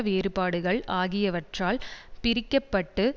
வேறுபாடுகள் ஆகியவற்றால் பிரிக்க பட்டு